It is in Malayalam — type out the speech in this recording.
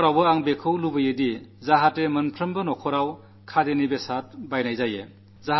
ഇപ്രാവശ്യവും എല്ലാ കുടുംബത്തിലും ഖാദിയുടെ എന്തെങ്കിലും തുണി വാങ്ങണമെന്നാണു ഞാൻ ആഗ്രഹിക്കുന്നത്